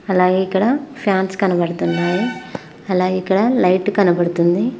అలాగే ఇక్కడ ఫ్యాన్స్ కనబడుతున్నాయి అలాగే ఇక్కడ లైట్ కనబడుతుంది.